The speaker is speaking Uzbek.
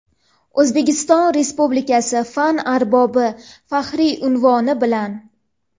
"O‘zbekiston Respublikasi fan arbobi" faxriy unvoni bilan.